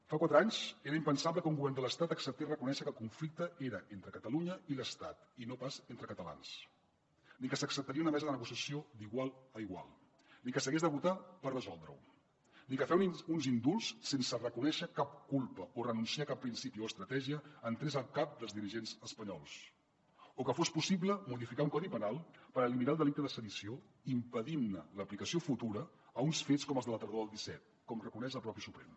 fa quatre anys era impensable que un govern de l’estat acceptaria reconèixer que el conflicte era entre catalunya i l’estat i no pas entre catalans ni que s’acceptaria una mesa de negociació d’igual a igual ni que s’hagués de votar per resoldre ho ni que fer uns indults sense reconèixer cap culpa o renunciar a cap principi o estratègia entrés al cap dels dirigents espanyols o que fos possible modificar un codi penal per eliminar el delicte de sedició impedint ne l’aplicació futura a uns fets com els de la tardor del disset com reconeix el propi suprem